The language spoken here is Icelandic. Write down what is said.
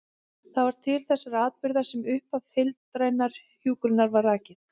Það var til þessara atburða sem upphaf heildrænnar hjúkrunar var rakið.